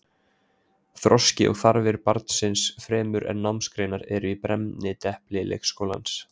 Þroski og þarfir barnsins fremur en námsgreinar eru í brennidepli leikskólans.